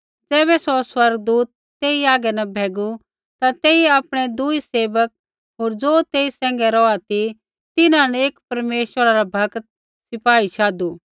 ज़ैबै सौ स्वर्गदूत तेई हागै न भैगू ता तेइयै आपणै दूई सेवक होर ज़ो तेई सैंघै रौहा ती तिन्हां न एक परमेश्वरा रा भक्त सिपाही शाधु